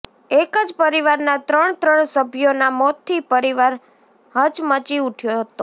એક જ પરિવારના ત્રણ ત્રણ સભ્યોના મોતથી પરિવાર હચમચી ઉઠયો હતો